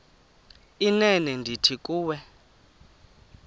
inene ndithi kuwe